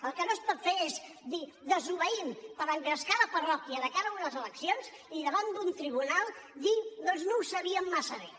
el que no es pot fer és dir desobeïm per engrescar la parròquia de cara a unes eleccions i davant d’un tribunal dir doncs no ho sabíem massa bé